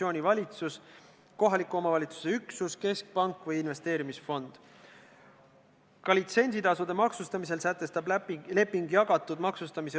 Kõrgeauline juhatus ei olnud täiskoosseisus, sellepärast äkki valgustate meid, mis olid need kaalutlused, miks on õigustatud, et selline imelik seaduste kombinatsioon on Riigikogu saalis aktsepteeritav.